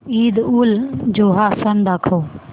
ईदउलजुहा सण दाखव